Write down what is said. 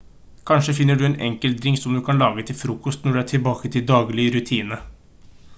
kanskje finner du en enkel drink som du kan lage til frokost når du er tilbake til daglig rutine